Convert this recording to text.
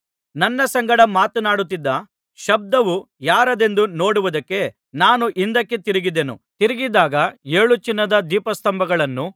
ನನ್ನ ಸಂಗಡ ಮಾತನಾಡುತ್ತಿದ್ದ ಶಬ್ದವು ಯಾರದೆಂದು ನೋಡುವುದಕ್ಕೆ ನಾನು ಹಿಂದಕ್ಕೆ ತಿರುಗಿದೆನು ತಿರುಗಿದಾಗ ಏಳು ಚಿನ್ನದ ದೀಪಸ್ತಂಭಗಳನ್ನೂ